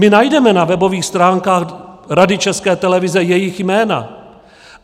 My najdeme na webových stránkách Rady České televize jejich jména.